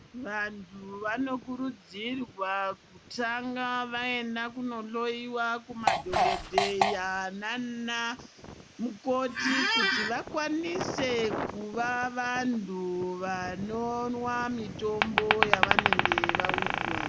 Vantu vanokurudzirwa kutanga vaenda kunohloyiwa kumadhokodheya nana mukoti kuti vakwanise kuva vantu vanomwa mitombo yavanenge vaudzwa .